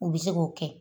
U bɛ se k'o kɛ